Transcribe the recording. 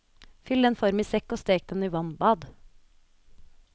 Fyll den i form og stek den i vannbad.